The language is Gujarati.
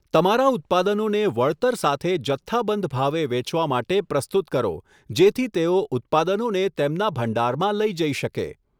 તમારા ઉત્પાદનોને વળતર સાથે જથ્થાબંધ ભાવે વેચવા માટે પ્રસ્તુત કરો જેથી તેઓ ઉત્પાદનોને તેમના ભંડારમાં લઈ જઈ શકે.